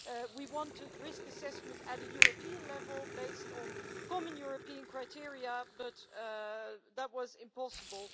We wanted risk assessment at the European level, based on common European criteria, but that was impossible.